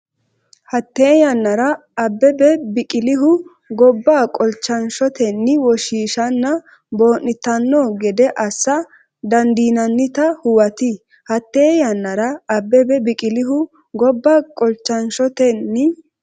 Hatte yannara, Abbebe Biqilihu gobba qolchan- shotenni woshshiishanna boo’nitanno gede assa dandiinannita huwati Hatte yannara, Abbebe Biqilihu gobba qolchan- shotenni.